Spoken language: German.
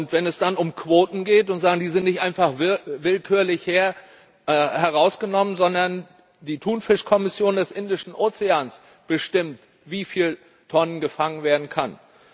Wenn es dann um Quoten geht, werden diese nicht einfach willkürlich herausgenommen, sondern die Thunfischkommission des Indischen Ozeans bestimmt, wie viele Tonnen gefangen werden können.